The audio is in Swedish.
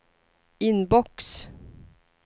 inbox